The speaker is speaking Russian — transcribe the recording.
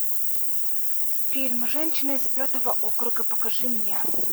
фильм женщина из пятого округа покажи мне